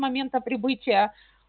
момента прибытия